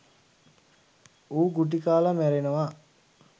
ඌ ගුටි කාල මැරෙනවා.